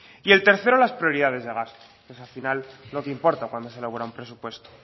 y el tercero las prioridades de gastos pues al final es lo que importa cuando se elabora un presupuesto